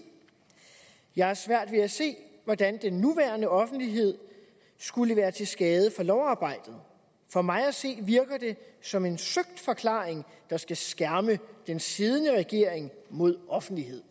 jeg har svært ved at se hvordan den nuværende offentlighed skulle være til skade for lovarbejdet for mig at se virker det som en søgt forklaring der skal skærme den siddende regering mod offentlighed